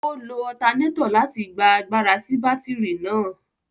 O lo alternator láti gbà àgbàrá si batiri náà